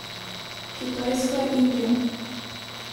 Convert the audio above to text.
Kitajska, Indija.